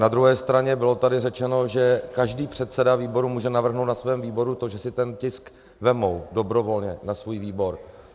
Na druhé straně bylo tady řečeno, že každý předseda výboru může navrhnout na svém výboru to, že si ten tisk vezmou dobrovolně na svůj výbor.